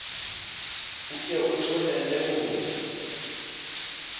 o ke o tlohele ho